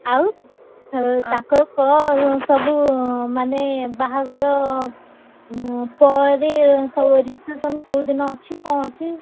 ଆଉ ତାଙ୍କର କଣ ସବୁ ମାନେ ବାହାଘର ଉଁ ପରେ ସବୁ reception କୋଉ ଦିନ ଅଛି କଣ ଅଛି?